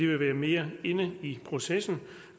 vil være mere inde i processen